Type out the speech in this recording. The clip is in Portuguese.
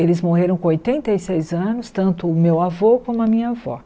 Eles morreram com oitenta e seis anos, tanto o meu avô como a minha avó.